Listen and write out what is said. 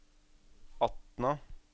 Atna